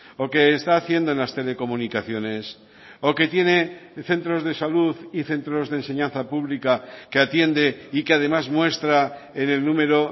o que está haciendo en las telecomunicaciones o que tiene centros de salud y centros de enseñanza pública que atiende y que además muestra en el número